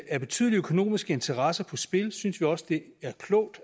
er betydelige økonomiske interesser på spil synes vi også det er klogt